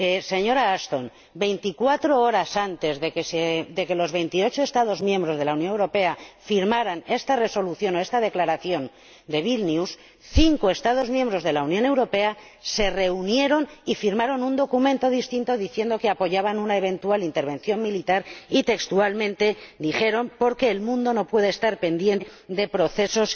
Señora Ashton, veinticuatro horas antes de que los 28 Estados miembros de la Unión Europea firmaran esa Resolución, o esa Declaración, de Vilna, cinco Estados miembros de la Unión Europea se reunieron y firmaron un documento distinto en el que afirmaban que apoyaban una eventual intervención militar y, textualmente, dijeron porque el mundo no puede estar pendiente de procesos